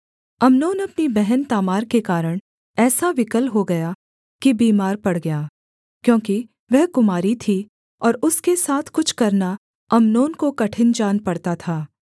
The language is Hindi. अम्नोन अपनी बहन तामार के कारण ऐसा विकल हो गया कि बीमार पड़ गया क्योंकि वह कुमारी थी और उसके साथ कुछ करना अम्नोन को कठिन जान पड़ता था